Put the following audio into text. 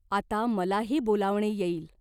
आता मलाही बोलावणे येईल.